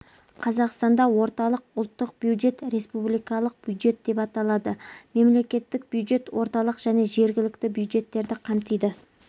қазақстанда орталық ұлттық бюджет республикалық бюджет аталады мемлекеттік бюджет орталық және жергілікті бюджеттерді қамтиды